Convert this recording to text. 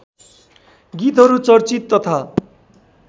गीतहरू चर्चित तथा